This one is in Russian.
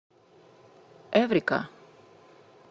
эврика